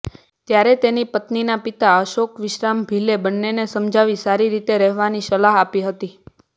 ત્યારે તેની પત્નીના પિતા અશોક વિશ્રામ ભીલે બંનેને સમજાવી સારી રીતે રહેવાની સલાહ આપી હતી